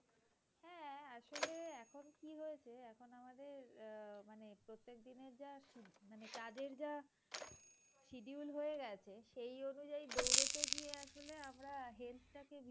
মানে তাদের যা schedule হয়ে গেছে সেই অনুযায়ী দৌড়তে গিয়ে আসলে আমরা health টাকে